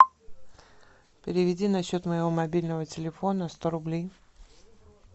переведи на счет моего мобильного телефона сто рублей